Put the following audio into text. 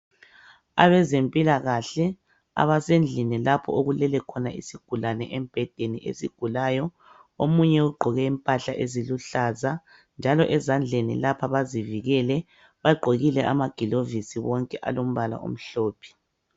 Abezempilakahle abasendlini lapho okulele khona isigulane embhedeni esigulayo. Omunye ugqoke impahla eziluhlaza .Njalo ezandleni lapha bazivikele . Bagqokile amagilovisi bonke alombala omhlophe.